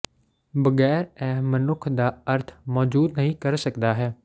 ਬਗੈਰ ਇਹ ਮਨੁੱਖ ਦਾ ਅਰਥ ਮੌਜੂਦ ਨਹੀ ਕਰ ਸਕਦਾ ਹੈ